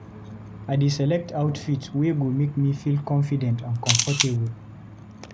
I dey select outfit wey go make me feel confident and comfortable.